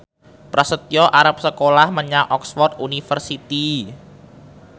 Prasetyo arep sekolah menyang Oxford university